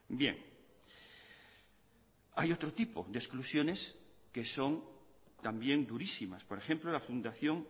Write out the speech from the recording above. bien hay otro tipo de exclusiones que son también durísimas por ejemplo la fundación